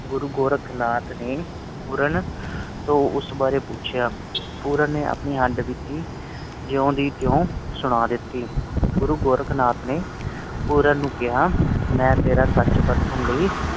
ਗੁਰੂ ਗੋਰਖ ਨਾਥ ਨੇ ਪੂਰਨ ਤੋਂ ਉਸ ਬਾਰੇ ਪੁੱਛਿਆ ਪੂਰਨ ਨੇ ਆਪਣੀ ਹੱਡ ਬੀਤੀ ਜੁ ਦੀ ਤੂੰ ਸੁਣਾ ਦਿੱਤੀ ਗੁਰੂ ਗੋਰਖ ਨਾਥ ਨੇ ਪੂਰਨ ਨੂੰ ਕਿਹਾ ਮੈਂ ਤੇਰਾ ਸੱਚ ਪਰਖਣ ਲਈ